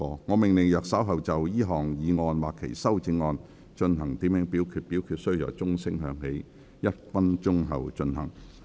我命令若稍後就這項議案或其修正案進行點名表決，表決須在鐘聲響起1分鐘後進行。